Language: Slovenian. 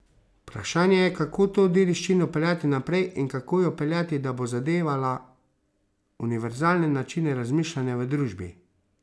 Vprašanje je, kako to dediščino peljati naprej in kako jo peljati, da bo zadevala univerzalne načine razmišljanja v družbi.